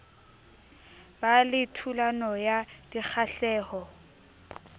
ba le thulano ya dikgahleho